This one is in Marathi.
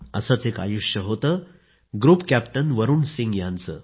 असेच एक आयुष्य होते ग्रुप कॅप्टन वरुण सिंह यांचे